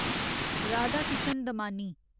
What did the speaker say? Radhakishan Damani